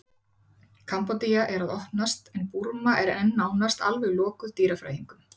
Kambódía er að opnast en Burma er enn nánast alveg lokuð dýrafræðingum.